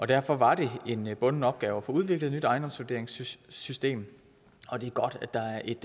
derfor var det en bunden opgave at få udviklet et nyt ejendomsvurderingssystem og det er godt at der er et